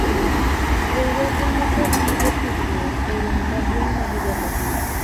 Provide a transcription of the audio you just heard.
riwruogwa nikog gige tudruok e romo maduong' ma higa ka higa